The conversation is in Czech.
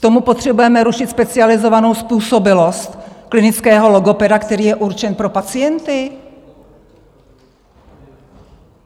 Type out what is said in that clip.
K tomu potřebujeme rušit specializovanou způsobilost klinického logopeda, který je určen pro pacienty?